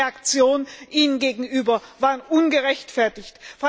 Die Reaktionen Ihnen gegenüber waren ungerechtfertigt.